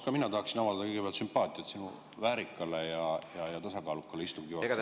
Ka mina tahaksin avaldada kõigepealt sümpaatiat sinu väärikale ja tasakaalukale istungi juhatamisele.